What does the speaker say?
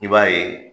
I b'a ye